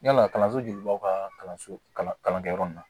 Yala kalanso jelibaw ka kalanso kalankɛyɔrɔ in na